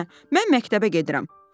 "Nənə, mən məktəbə gedirəm.